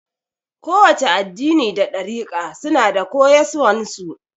Kowace addini da ɗarika suna da koyaswan su